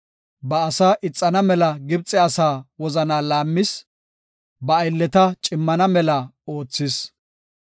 Ba asaa ixana mela Gibxe asaa wozanaa laammis; ba aylleta cimmana mela oothis.